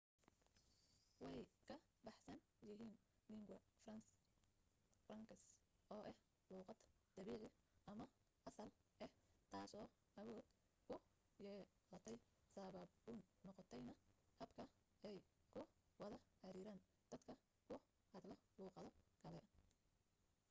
way ka baxsan yihiin lingua francas oo ah luuqad dabiici ama asal ah taaso awood ku yeelatay sababuun noqontayna habka ay ku wada xiriiraan dadka ku hadla luuqado kale